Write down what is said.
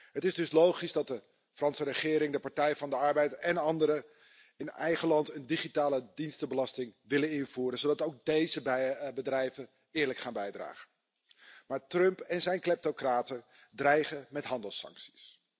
Het is dus logisch dat de Franse regering, de Partij van de Arbeid en anderen in eigen land een digitaledienstenbelasting willen invoeren, zodat ook deze bedrijven eerlijk gaan bijdragen. Trump en zijn kleptocraten dreigen echter met handelssancties.